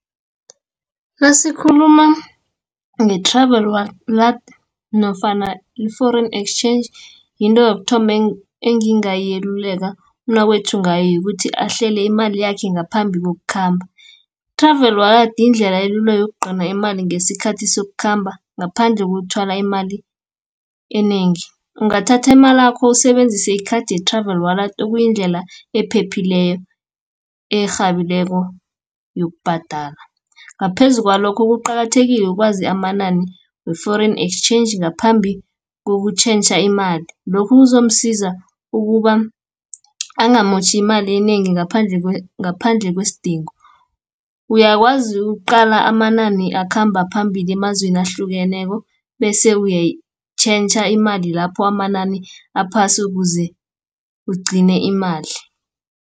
Nasikhuluma nge-Travel Wallet, nofana i-Foreign Exchange, yinto yokuthoma engingayeluleka umnakwethu ngayo, yokuthi ahlele imali yakhe ngaphambi kokukhamba. I-Travel Wallet yindlela elula yokugcina imali ngesikhathi sokukhamba, ngaphandle kokuthwala imali enengi. Ungathathi imalakho usebenzise ikhathi ye-Travel Wallet okuyindlela ephephileko erhabileko yokubhadala. Ngaphezu kwalokho kuqakathekile ukwazi amanani we-Foreign Exchange ngaphambi kokutjhentjha imali. Lokho kuzomsiza ukuba angamotjhi imali enengi ngaphandle kwesidingo. Uyakwazi uqala amanani akhamba phambili emazweni ahlukeneko, bese uyayitjhentjha imali lapho amanani aphasi, ukuze ugcine imali.